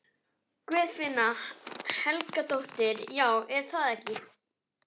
Guðfinna Helgadóttir: Já, er það ekki?